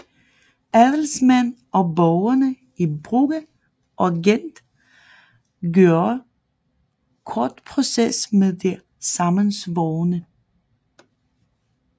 Adelsmænd og borgerne i Brugge og Gent gjorde kort proces med de sammensvorne